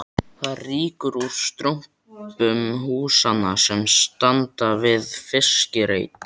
Það rýkur úr strompum húsanna sem standa við fiskreit